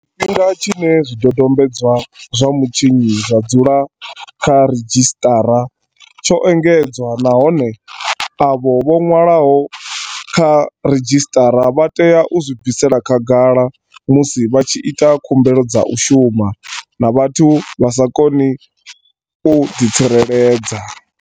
Tshifhinga tshine zwi dodombedzwa zwa mutshinyi zwa dzula kha ridzhisiṱara tsho engedzwa, nahone avho vho ṅwalwaho kha ridzhisiṱara vha tea u zwi bvisela khagala musi vha tshi ita khumbelo dza u shuma na vhathu vha sa koni u ḓi tsireledza.